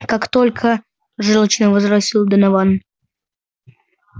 как только жёлчно возразил донован